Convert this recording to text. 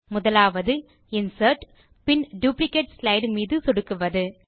முதல் வழியாவது இன்சர்ட் பின் டுப்ளிகேட் ஸ்லைடு மீது சொடுக்குவது